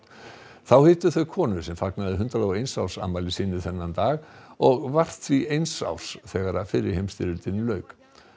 þá hittu þau konu sem fagnaði hundrað og eins árs afmæli sínu þennan dag og var því eins árs þegar fyrri heimsstyrjöldinni lauk